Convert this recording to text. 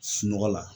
Sunɔgɔ la